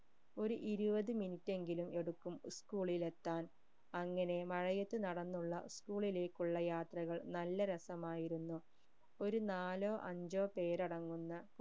ഒരു ഇരുപത് minute എങ്കിലും എടുക്കും school ഇൽ എത്താൻ അങ്ങനെ മഴയത്ത് നടന്നുള്ള school ലേക്കുള്ള യാത്രകൾ നല്ല രസമായിരുന്നു ഒരു നാലോ അഞ്ചോ പേരടങ്ങുന്ന